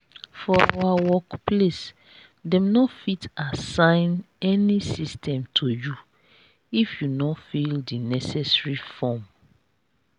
for our workplace dem no fit asssign any system to you if you no fill the necessary form